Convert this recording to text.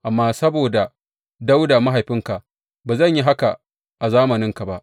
Amma saboda Dawuda mahaifinka, ba zan yi haka a zamaninka ba.